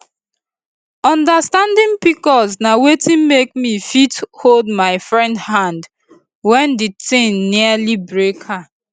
understanding pcos na wetin make me fit hold my friend hand when di thing nearly break her